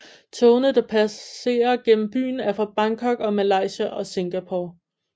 Togene der passer gennem byen er fra Bangkok og Malaysia og Singapore